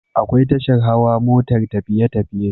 Akwai tashar Hawa motar tafiye tafiye